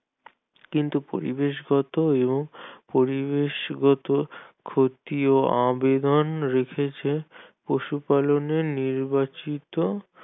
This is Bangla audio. কিন্তু পরিবেশ গত এবং পরিবেশগত ক্ষতিও অবিমান রেখেছে পশুপালনের নির্বাচিত